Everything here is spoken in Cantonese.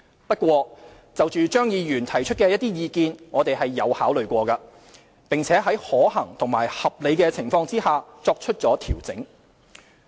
不過，就張議員提出的一些意見，我們有考慮過，並在可行和合理情況下，作出了調整。